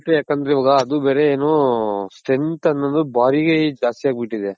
ಯಾಕಂದ್ರೆ ಇವಾಗ ಅದು ಬೇರೆ ಏನು strength ಅನ್ನೋದು ದ್ಯಸ್ತಿ ಅಗ್ಬುಟ್ಟಿದೆ .